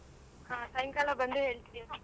ಹಾ ಸಾಯಂಕಾಲ ಬಂದು ಹೇಳ್ತಿಯಾ?